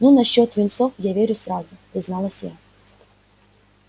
ну насчёт юнцов я верю сразу призналась я